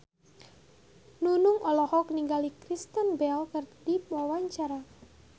Nunung olohok ningali Kristen Bell keur diwawancara